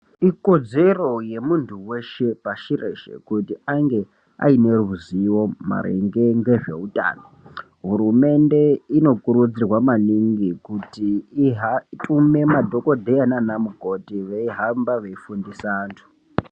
Ikodzero yemunthu weshe pashi reshe kuti ange ane ruzivo maringe ngezveutano hurumende inokurudzirwa maningi kuti itume madhokodheya nanamukoti veihamba veifundisa vanthu.